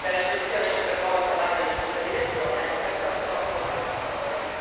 La risoluzione oggi proposta va nella giusta direzione e per questo ho votato a favore.